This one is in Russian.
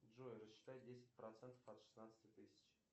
джой рассчитай десять процентов от шестнадцати тысяч